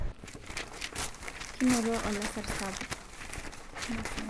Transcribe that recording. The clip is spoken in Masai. kinoto olasar sapuk